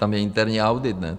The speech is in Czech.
Tam je interní audit, ne?